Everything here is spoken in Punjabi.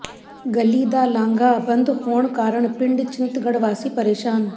ਗਲੀ ਦਾ ਲਾਂਘਾ ਬੰਦ ਹੋਣ ਕਾਰਨ ਪਿੰਡ ਚਿੰਤਗੜ੍ਹ ਵਾਸੀ ਪ੍ਰੇਸ਼ਾਨ